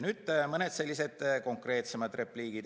Nüüd mõni konkreetsem repliik.